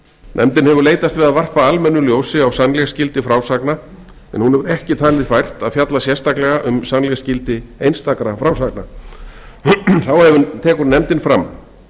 nefndin hefur leitast við að varpa almennu ljósi á sannleiksgildi frásagna en hún hefur ekki talið fært að fjalla sérstaklega um sannleiksgildi einstakra frásagna þá tekur nefndin fram